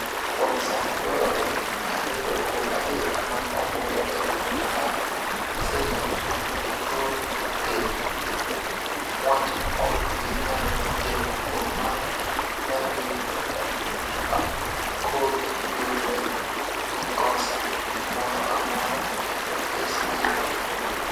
kuom sani dwarore ariyo kuom adek mag ombulu e riwruok mar senate mondo gigol ker, wach ma ok bi nyalre kendo kuom mano nyalo bet ni akobi yudre gi kosa moro amora to kes biro rumo